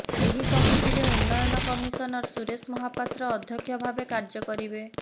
ଏହି କମିଟିରେ ଉନ୍ନୟନ କମିଶନର ସୁରେଶ ମହାପାତ୍ର ଅଧ୍ୟକ୍ଷ ଭାବେ କାର୍ଯ୍ୟ କରିବେ